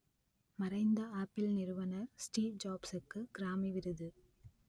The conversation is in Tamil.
மறைந்த ஆப்பிள் நிறுவனர் ஸ்டீவ் ஜாப்சுக்கு கிராமி விருது